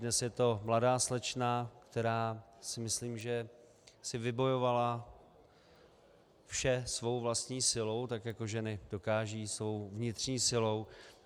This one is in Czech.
Dnes je to mladá slečna, která si myslím, že si vybojovala vše svou vlastní silou, tak jako ženy dokážou, svou vnitřní silou.